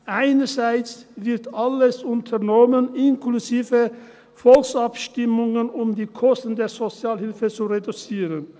Einerseits wird alles unternommen, inklusive Volksabstimmungen, um die Kosten der Sozialhilfe zu reduzieren.